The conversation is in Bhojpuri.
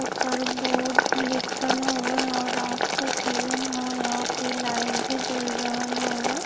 ऊपर बोर्ड लिखल हउवे और रात क सीजन हौ। यहाँँ पे लाइट भी जल रहल हउवे।